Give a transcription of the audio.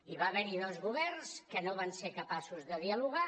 hi va haver hi dos governs que no van ser capaços de dialogar